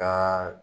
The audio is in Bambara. Ka